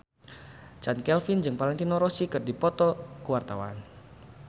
Chand Kelvin jeung Valentino Rossi keur dipoto ku wartawan